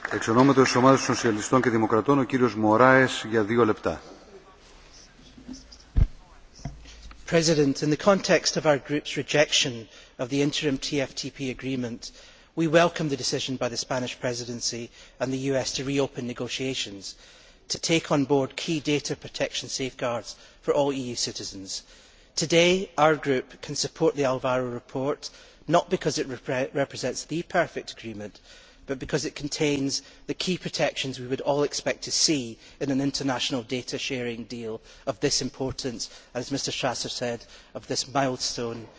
Mr President, in the context of our group's rejection of the interim TFTP Agreement, we welcome the decision by the Spanish Presidency and the US to reopen negotiations to take on board key data protection safeguards for all EU citizens. Today, our group can support the Alvaro report, not because it represents the perfect agreement, but because it contains the key protections we would all expect to see in an international data sharing deal of this importance as Mr Strasser said, in this milestone event.